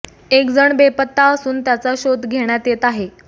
एक जण बेपत्ता असून त्याचा शोध घेण्यात येत आहे